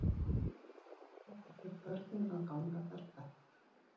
Best fyrir börnin að ganga berfætt